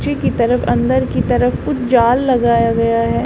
नीचे की तरफ अंदर की तरफ कुछ जाल लगाया गया है।